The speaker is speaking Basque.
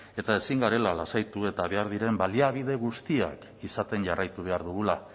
eta ezin garela lasaitu eta behar diren baliabide guztiak izaten jarraitu behar dugula